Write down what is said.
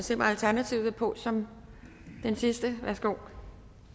zimmer alternativet vil på som den sidste ja værsgo